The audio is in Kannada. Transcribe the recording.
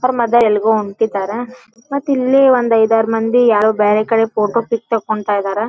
ಅವ್ರ ಮದರ್ ಎಲ್ಲಗೊ ಹೊಂಟ್ಟಿದರ್ ಮತ್ತ ಇಲ್ಲಿ ಒಂದ್ ಐದಾರ್ ಮಂದಿ ಯಾರೋ ಬ್ಯಾರೆ ಕಡೆ ಫೋಟೋ ಪಿಕ್ ತಕೊಂತ್ತಿದ್ದಾರೆ .